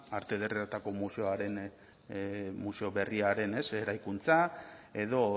arte ederretako museo berriaren eraikuntza edo